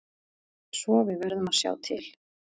Svo við verðum að sjá til.